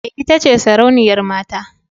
Ee, ita ce sarauniyar mata.